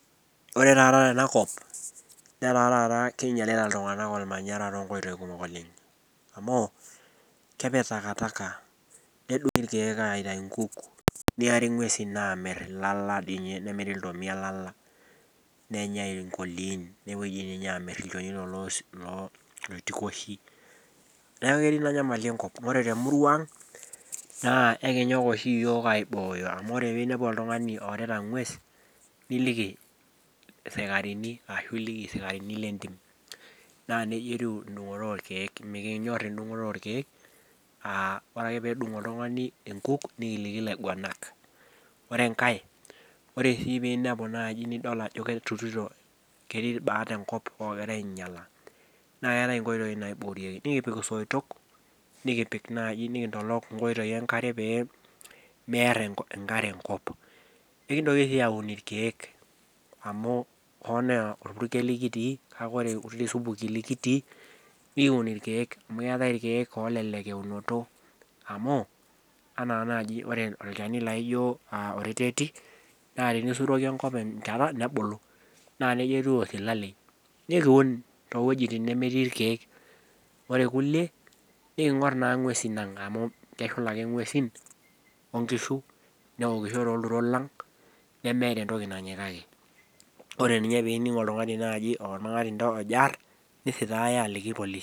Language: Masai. Ore taata tenakop netaa taata keinyalita iltungana olmanyara to inkoitoi kumok oleng, amu kepiik takataka, nedung' irkiek aitai inkuk, nearie inguesi aamir il'aala dei ninye, nemiri iltomia il'aala, nenyai inkoliin, nepoi ninye aamir ilchonito loo loitikoshi. Neaku ketii naa inyamali enkop, ore te murrua aang' naa ekinyok oshi yook aibooyo amu ore piiniapu oltungani orita engues, niliki isikarini ashu iliki isikarini le intim. Naa neja etiu indung'oto orkiek, mikinyor endung'oto orkiek, ore ake peedung' ortungani inkuuk nikiliki ilainguanak. Ore enkae, ore sii piiniapu naaji nidol ajo ketii ilbaat enkop oogira ainyala, naa keatae inkoitoi naibokieki, nikipik soitok, nikipiik naaji nikintolok nkoitoi enkare peemear enkare enkop. Nikintoki sii aun irkiek amu ore kulie onaa olpurkeli kitii kake ore kulie supukin likitii nikiun irkiek amu eatae irkiek oolelek eunoto amuu anaa naaji ore olchani laijo oreteti, naa enisuroki enkop enchata nebulu, naa neja etiu osilalei. Naa ekiun too wuejitin nemetii irkiek. Ore ilkulie niking'or naa inguesin aang' amuu keshula ake inguesin onkishu, neokisho too ilturot lang, nemeeta entoki nanyikaki. Ore ninye piining' oltungani olmang'antita ojo aarrr, nisitaaya aliki ilpolisi.